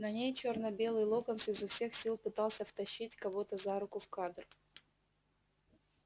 на ней чёрно-белый локонс изо всех сил пытался втащить кого-то за руку в кадр